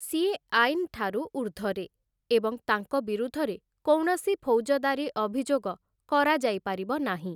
ସିଏ ଆଇନ୍ ଠାରୁ ଉର୍ଦ୍ଧ୍ୱରେ ଏବଂ ତାଙ୍କ ବିରୁଦ୍ଧରେ କୌଣସି ଫୌଜଦାରୀ ଅଭିଯୋଗ କରାଯାଇ ପାରିବ ନାହିଁ ।